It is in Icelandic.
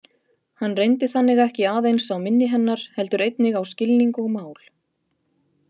Hann reyndi þannig ekki aðeins á minni hennar heldur einnig á skilning og mál.